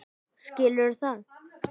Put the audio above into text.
Skilurðu það?